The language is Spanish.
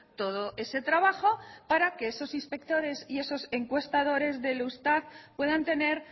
todo ese trabajo para que esos inspectores y esos encuestadores del eustat puedan tener